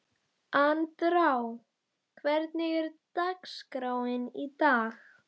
Andrá, hvernig er dagskráin í dag?